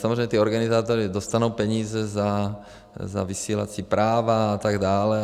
Samozřejmě ti organizátoři dostanou peníze za vysílací práva a tak dále.